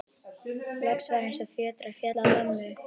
Loks var eins og fjötrar féllu af mömmu.